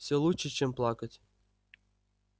всё лучше чем плакать